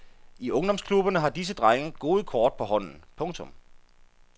I ungdomsklubberne har disse drenge gode kort på hånden. punktum